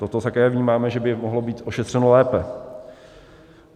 Toto také vnímáme, že by mohlo být ošetřeno lépe.